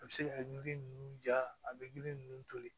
A bɛ se ka yiri ninnu ja a bɛ yiri ninnu toli